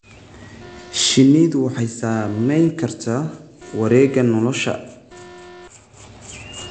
Shinnidu waxay saamayn kartaa wareegga nolosha.